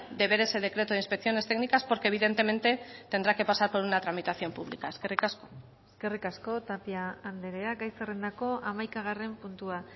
de ver ese decreto de inspecciones técnicas porque evidentemente tendrá que pasar por una tramitación pública eskerrik asko eskerrik asko tapia andrea gai zerrendako hamaikagarren puntua